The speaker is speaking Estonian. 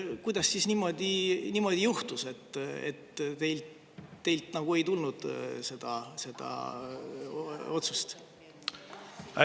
Kuidas siis niimoodi juhtus, et teilt ei tulnud seda otsust?